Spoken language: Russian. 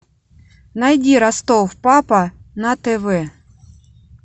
найди ростов папа на тв